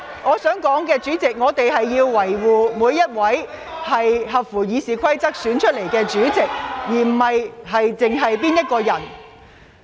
主席，我想指出，我們應當維護每一位根據《議事規則》選出的委員會主席，而此事並非只關乎我個人。